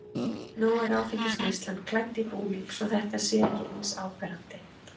Nú er áfengisneyslan klædd í búning svo að þetta sé ekki eins áberandi.